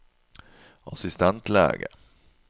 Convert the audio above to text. assistentlege